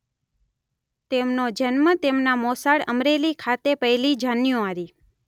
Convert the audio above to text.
તેમનો જન્મ તેમના મોસાળ અમરેલી ખાતે પહેલી જાન્યુઆરી